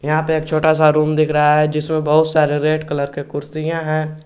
यहां पे एक छोटा सा रूम दिख रहा है जिसमें बहुत सारे रेड कलर के कुर्सियां है।